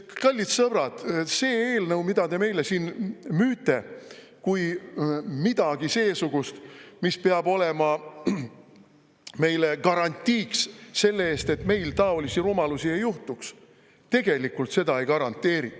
Kallid sõbrad, see eelnõu, mida te meile müüte kui midagi seesugust, mis peab olema meile garantiiks, et meil taolisi rumalusi ei juhtu, tegelikult seda ei garanteeri.